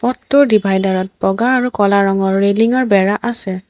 পথটোৰ ডিভাইডাৰ ত বগা আৰু ক'লা ৰঙৰ ৰেলিং ৰ বেৰা আছে।